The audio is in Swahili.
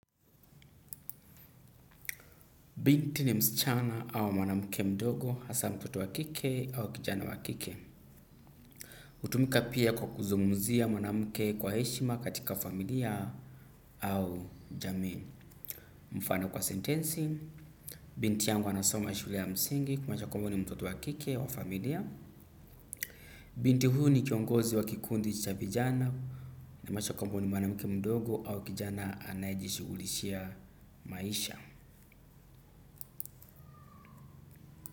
Binti ni msichana au mwanamke mdogo, hasa mtoto wakike au kijana wakike. Hutumika pia kwa kuzungumzia mwanamke kwa heshima katika familia au jamii. Mfano kwa sentensi, binti yangu anasoma shule ya msingi kumaanisha kwamba huyu ni mtoto wakike wa familia. Binti huyu ni kiongozi wa kikundi cha vijana inamaanisha kwamba huyu ni mwanamke mdogo au kijana anaye jishughulishia maisha.